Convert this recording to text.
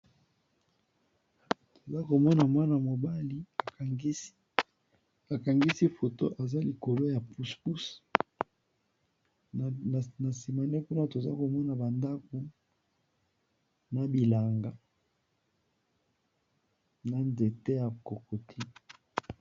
Toza komona mwana mobali akangisi foto aza likolo ya pusupuse, na sima naye kuna toza komona ba ndaku na bilanga ba nzete ya kokoti.